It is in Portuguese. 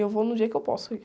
Eu vou no dia que eu posso ir.